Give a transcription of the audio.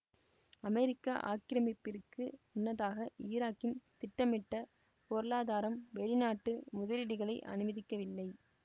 அமெரிக்க ஆக்கிரமிப்பிற்கு முன்னதாக ஈராக்கின் திட்டமிட்ட பொருளாதாரம் வெளிநாட்டு முதலீடுகளை அனுமதிக்கவில்லை